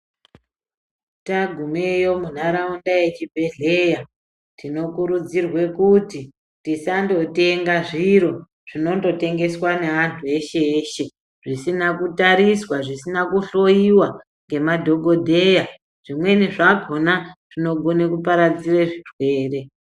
Tagumeyo muntaraunda yechibhedhleya tinokurudzirwe kuti Tisandotenga zviro zvinondotengeswa neantu eshe-eshe. zvisina kutariswa zvisina kuhloiwa ngemadhogodheya zvimweni zvakona zvinogona kuparadzire zvirwere.